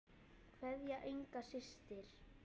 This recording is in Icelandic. Kveðja, Inga systir.